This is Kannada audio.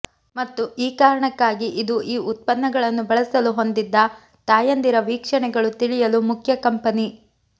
ಮತ್ತು ಈ ಕಾರಣಕ್ಕಾಗಿ ಇದು ಈ ಉತ್ಪನ್ನಗಳನ್ನು ಬಳಸಲು ಹೊಂದಿದ್ದ ತಾಯಂದಿರ ವೀಕ್ಷಣೆಗಳು ತಿಳಿಯಲು ಮುಖ್ಯ ಕಂಪನಿ